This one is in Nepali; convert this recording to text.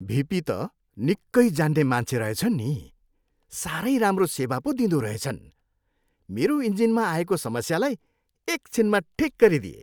भिपी त निक्कै जान्ने मान्छे रहेछन् नि। साह्रै राम्रो सेवा पो दिँदोरहेछन्। मेरो इन्जिनमा आएको समस्यालाई एक छिनमा ठिक गरिदिए।